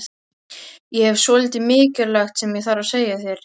Ég hef svolítið mikilvægt sem ég þarf að segja þér.